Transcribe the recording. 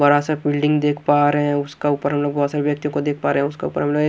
बड़ा सा बिल्डिंग देख पा रहे हैं उसका ऊपर हम लोग बहोत सारे व्यक्तियों को देख पा रहे हैं उसका ऊपर हम लोग ए --